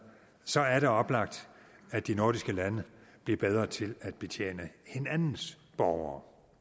så er det oplagt at de nordiske lande bliver bedre til at betjene hinandens borgere